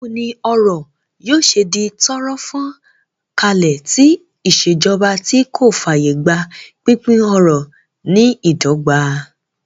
Báwo ni ọrọ̀ yóò ṣe di tọ́rọ́ fán kálé tí ìṣèjọba tí kò fààyè gba pínpín ọrọ̀ ní ìdọ́gba?